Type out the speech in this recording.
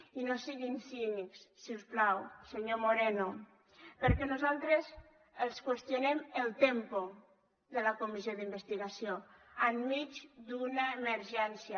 i no siguin cínics si us plau senyor moreno perquè nosaltres els qüestionem el tempoció enmig d’una emergència